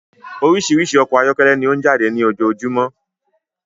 Orísirísi ọkọ ayọkẹlẹ ni ọ n jáde ní ojojúmọ́